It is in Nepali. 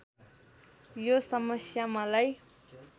यो समस्या मलाई